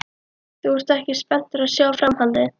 Ert þú ekki spenntur að sjá framhaldið?